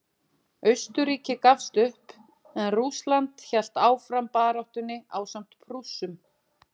Austurríki gafst upp en Rússland hélt áfram baráttunni ásamt Prússum.